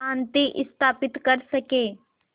शांति स्थापित कर सकें